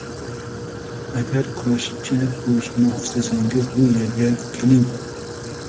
Agar kurashchi bo‘lishni istasangiz bu yerga keling.